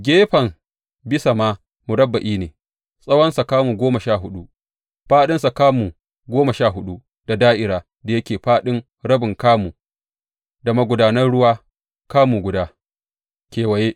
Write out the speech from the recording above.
Gefen bisa ma murabba’i ne, tsawonsa kamu goma sha huɗu fāɗinsa kuma kamu goma huɗu, da da’ira da yake da fāɗin rabin kamu da magudanan ruwa kamu guda kewaye.